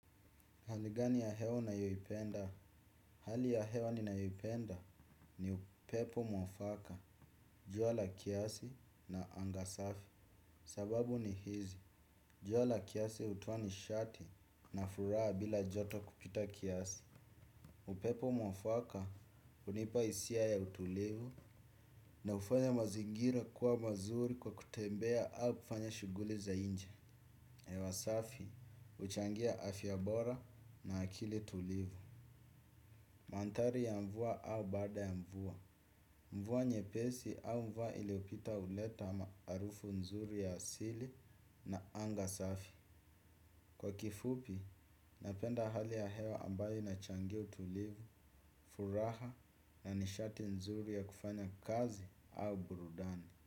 Hali gani ya hewa unayoipenda? Hali ya hewa ninayoipenda ni upepo mwafaka, jua la kiasi na anga safi. Sababu ni hizi, jua la kiasi hutoa nishati na furaha bila joto kupita kiasi. Upepo mwafaka hunipa hisia ya utulivu na hufanya mazingira kuwa mazuri kwa kutembea au kufanya shughuli za nje. Hewa safi huchangia afya bora na akili tulivu. Mandhari ya mvua au baada ya mvua. Mvua nyepesi au mvua iliyopita huleta harufu nzuri ya asili na anga safi. Kwa kifupi, napenda hali ya hewa ambayo inachangia utulivu, furaha na nishati nzuri ya kufanya kazi au burudani.